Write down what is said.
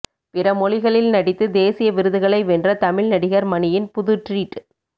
பிற மொழிகளில் நடித்து தேசிய விருதுகளை வென்ற தமிழ் நடிகர் மணியின் புது ட்ரீட்